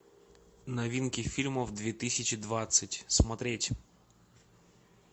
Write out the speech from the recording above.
новинки фильмов две тысячи двадцать смотреть